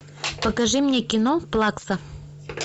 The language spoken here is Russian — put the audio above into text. покажи мне кино плакса